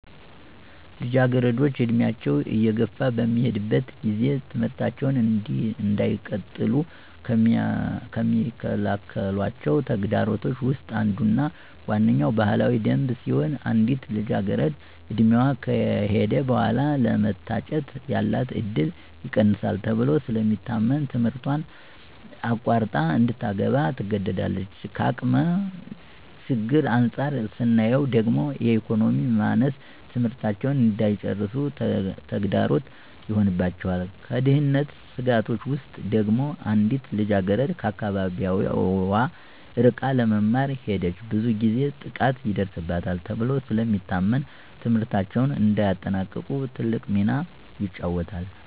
ልጃገረዶች ዕድሜያቸው እየገፋ በሚሄድበት ጊዜ ትምህርታቸውን እንዳይቀጥሉ ከሚከለክሏቸው ተግዳሮቶች ውስጥ አንዱና ዋነኛዉ ባህላዊ ደንብ ሲሆን አንዲት ልጃገረድ ዕድሜዋ ከሄደ በኃላ ለመታጨት ያላት እድል ይቀንሳል ተብሎ ስለሚታመን ትምህረቷን አቋርጣ እንድታገባ ትገደዳለች። ከአቅም ችግር አንፃር ስናየው ደግሞ የኢኮኖሚ ማነስ ትምህርታቸውን እንዳይጨርሱ ተግዳሮት ይሆንባቸዋል። ከደህንነት ስጋቶች ውስጥ ደግሞ አንዲት ልጃገረድ ከአካባቢዋ ርቃ ለመማር ከሄደች ብዙ ጊዜ ጥቃት ይደርስባታል ተብሎ ስለሚታመን ትምህርታቸውን እንዳያጠናቅቁ ትልቅ ሚና ይጫወታል።